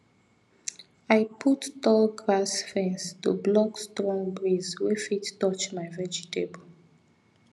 i put tall grass fence to block strong breeze wey fit touch my vegetable